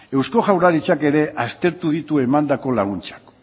eusko jaurlaritzak ere aztertu ditu emandako laguntzak